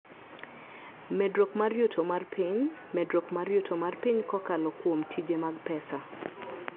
Medruok mar yuto mar piny: Medruok mar yuto mar piny kokalo kuom tije mag pesa.